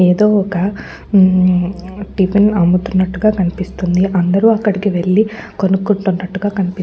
ఏదో ఒక మ్ టిఫిన్ అమ్ముతున్నట్టుగా కనిపిస్తుంది. అందరూ అక్కడికి వెళ్ళి కొనుకునట్టునట్టుగా కనిపిస్ --